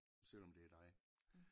Selvom det er dig